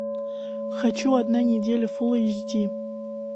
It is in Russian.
хочу одна неделя фул эйч ди